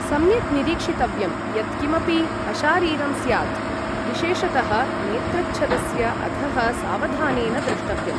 सम्यक् निरीक्षितव्यं यत् किमपि अशारीरं स्यात्, विशेषतः नेत्रच्छदस्य अधः सावधानेन द्रष्टव्यम्।